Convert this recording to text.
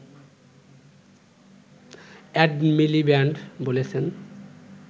add Miliband বলেছেন